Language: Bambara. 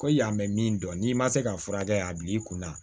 Ko yan bɛ min dɔn n'i ma se ka furakɛ a bi i kunna